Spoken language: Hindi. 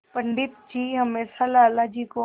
पंडित जी हमेशा लाला जी को